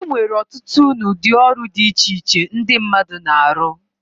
Enwere ọtụtụ na udi ọrụ di iche iche ndi mmadu na-arọ.